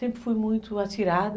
Sempre fui muito atirada.